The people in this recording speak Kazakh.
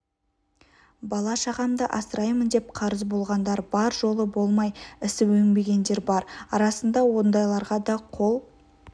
бала-шағамды асыраймын деп қарыз болғандар бар жолы болмай ісі өнбегендер бар арасында ондайларға да қол